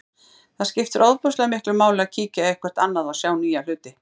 Það skiptir ofboðslega miklu máli að kíkja eitthvert annað og sjá nýja hluti.